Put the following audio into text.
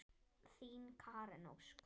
Þín Karen Ósk.